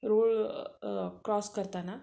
रूळ क्रॉस करताना